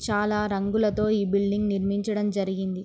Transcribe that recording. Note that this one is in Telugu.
చాలా రంగులతో ఈ బిల్డింగ్ నిర్మీచడం జరిగింది.